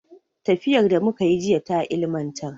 Tafiyar da muka yi jiya ta ilimantar.